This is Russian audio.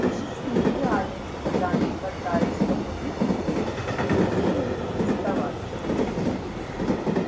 в жизни и реальных страданий хватает чтобы их лелеять и пестовать